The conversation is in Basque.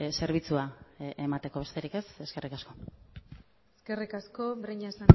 zerbitzua emateko besterik ez eskerrik asko eskerrik asko breñas